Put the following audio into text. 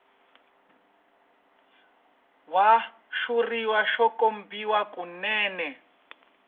wa xitshuriwa xo kopiwa kunene